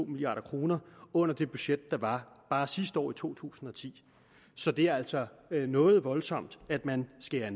milliard kroner under det budget der var bare sidste år i to tusind og ti så det er altså noget voldsomt man skærer